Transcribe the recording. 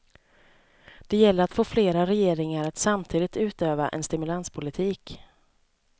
Det gäller att få flera regeringar att samtidigt utöva en stimulanspolitik.